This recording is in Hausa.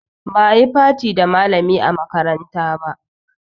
Ba a yi party da malami a makaranta ba